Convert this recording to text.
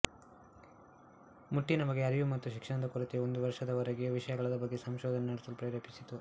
ಮುಟ್ಟಿನ ಬಗ್ಗೆ ಅರಿವು ಮತ್ತು ಶಿಕ್ಷಣದ ಕೊರತೆಯು ಒಂದು ವರ್ಷದವರೆಗೆ ಈ ವಿಷಯದ ಬಗ್ಗೆ ಸಂಶೋಧನೆ ನಡೆಸಲು ಪ್ರೇರೇಪಿಸಿತು